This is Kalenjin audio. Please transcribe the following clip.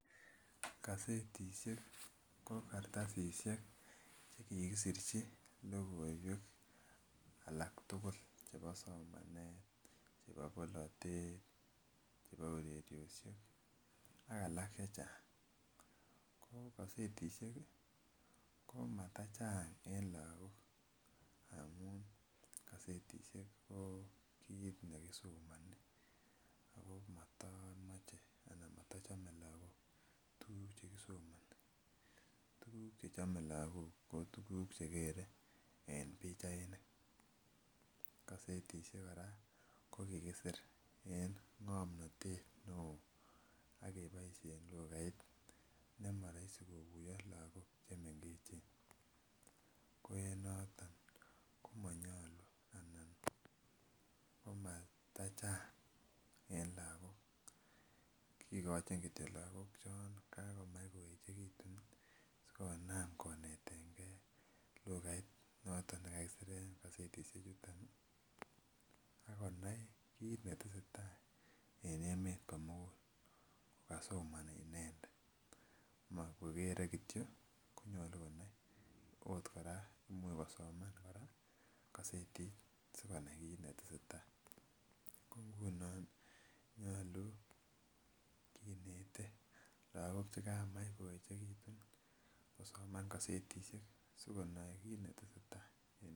Kasetisiek ko kartasisiek chekikisirchi logoiwek alaktugul chebo somanet, chebo bolotet, chebo ureryosiek ak alak chechang',ko kosetisiek ko matachang' en lagok amun kasetisiek ko kiit nekisomoni ako matochome lagok tuguk chekisomoni, tuguk chechome lagok ko tuguk chegere en pichainik, kasetisiek kora ko kikisir en ng'omnotet neo ak keboisien lugait nemoroisi koguyo lagok chemengechen, ko en noton komonyolu ana komatachang' en lagok, kigochin kityo lagok chon kagomach koechegitu sigonam konetengen lugait noton nekakisiren kosetisiechuton ak konai kiit netesetai en emet komogul ko kasomoni inendet ma kogere kityo konyolu konai ,ot kora imuch kosoman kora kosetit sikonai kiit netesetai, ko ingunon ii nyolu kinete lagok chegamach koyechegitun kosoman kosetisiek sikonoe kiit netesetai.